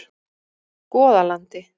Goðalandi